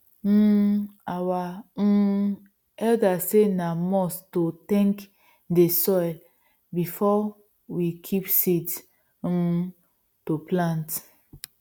um our um elders say na must to thank dey soil before we kip seeds um to plant